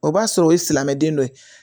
O b'a sɔrɔ o ye silamɛden dɔ ye